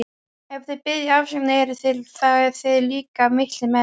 Ef þið biðjið afsökunar eruð þið líka miklir menn.